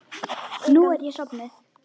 Nú er ég sofnuð.